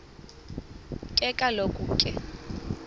ke kaloku ke